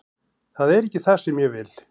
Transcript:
Það er ekki það sem ég vil.